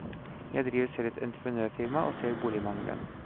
Jeg driver selv et entreprenørfirma, og ser boligmangelen.